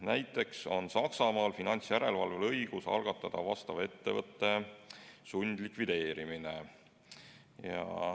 Näiteks on Saksamaal finantsjärelevalvel õigus algatada sellise ettevõtte sundlikvideerimine.